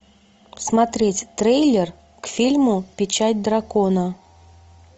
смотреть трейлер к фильму печать дракона